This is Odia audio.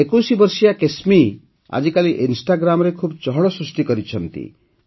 ୨୧ ବର୍ଷୀୟ କେସ୍ମୀ ଆଜିକାଲି ଇନ୍ଷ୍ଟାଗ୍ରାମରେ ଖୁବ ଚହଳ ସୃଷ୍ଟି କରିଛନ୍ତି